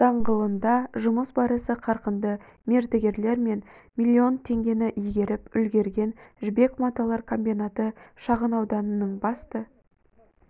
даңғылында жұмыс барысы қарқынды мердігерлер млн теңгені игеріп үлгерген жібек маталар комбинаты шағын ауданының басты